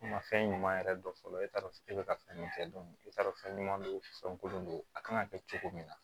Nka fɛn ɲuman yɛrɛ dɔn fɔlɔ e t'a dɔn e bɛ ka fɛn min kɛ e t'a dɔn fɛn ɲuman don fɛn kolon don a kan ka kɛ cogo min na